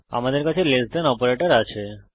এখন আমাদের কাছে লেস দেন অপারেটর আছে